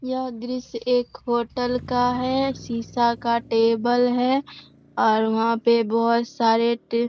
यह दृश्य एक होटल का है शीशा का टेबल है और वहां पे बहोत सारे टी --